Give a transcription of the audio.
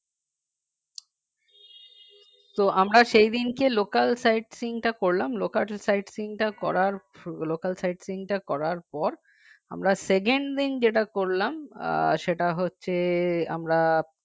তো আমরা সেই দিনকে local sightseeing টা করলাম local sightseeing করার পর local sightseeing করার পর আমরা second দিন যেটা করলাম আহ সেটা হচ্ছে আমরা